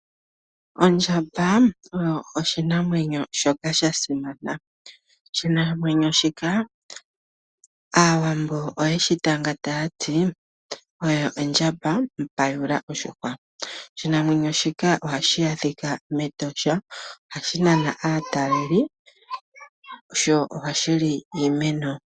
Ondjamba oyo oshinamwenyo shoka shasimana. Oshinamwenyo shika aawambo oyeshi tanga taati oyo ondjamba mpayula oshihwa. Oshinamwenyo shika ohashi adhika mEtosha ohashi nana aataleli sho ohashi li iimeno.